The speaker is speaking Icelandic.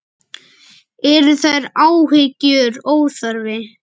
Eru þær áhyggjur óþarfi?